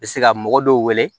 Bɛ se ka mɔgɔ dɔw wele